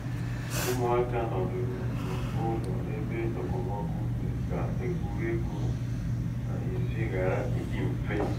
ụmụaka nọdụrụ n'ụlọ ebe okpomọkụ mere ka egwuregwu n'ezi ghara ịdị mfe